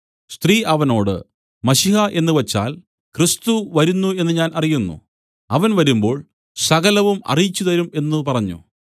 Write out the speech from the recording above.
സ്ത്രീ അവനോട് മശീഹ എന്നുവച്ചാൽ ക്രിസ്തു വരുന്നു എന്നു ഞാൻ അറിയുന്നു അവൻ വരുമ്പോൾ സകലവും അറിയിച്ചുതരും എന്നു പറഞ്ഞു